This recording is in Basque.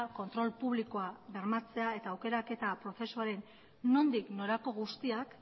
kontrol publikoa bermatzea eta aukerak eta prozesuaren nondik norako guztiak